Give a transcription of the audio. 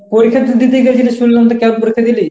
তা পরীক্ষা দিতে গিয়ে যেটা শুনলাম তো কেমন পরীক্ষা দিলি?